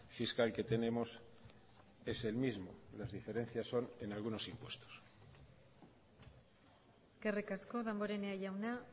fiscal que tenemos es el mismo las diferencias son en algunos impuestos eskerrik asko damborenea jauna